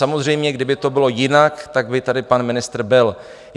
Samozřejmě kdyby to bylo jinak, tak by tady pan ministr byl.